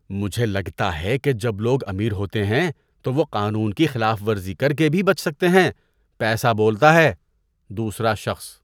مجھے لگتا ہے کہ جب لوگ امیر ہوتے ہیں تو وہ قانون کی خلاف ورزی کر کے بھی بچ سکتے ہیں۔ پیسہ بولتا ہے! (دوسرا شخص)